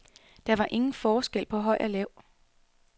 Der var ingen forskel på høj og lav.